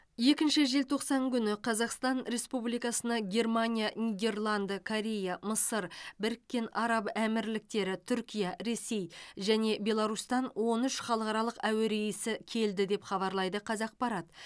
екінші желтоқсан күні қазақстан республикасына германия нидерланды корея мысыр біріккен араб әмірліктері түркия ресей және беларусьтан он үш халықаралық әуе рейсі келді деп хабарлайды қазақпарат